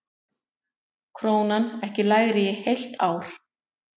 Krónan ekki lægri í heilt ár